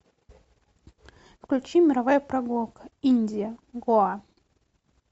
включи мировая прогулка индия гоа